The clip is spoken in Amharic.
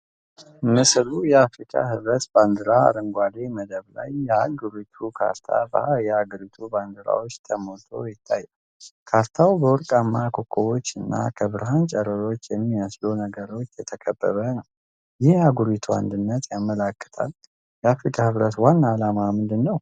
ምስሉ የአፍሪካ ህብረት ባንዲራ አረንጓዴ መደብ ላይ የአህጉሪቱ ካርታ በየሀገራቱ ባንዲራዎች ተሞልቶ ይታያል። ካርታው በወርቃማ ኮከቦች እና ከብርሃን ጨረሮች በሚመስሉ ነገሮች የተከበበ ነው። ይህ የአህጉሪቱን አንድነት ያመለክታል። የአፍሪካ ህብረት ዋና ዓላማ ምንድን ነው?